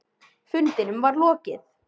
Fundinum var lokið.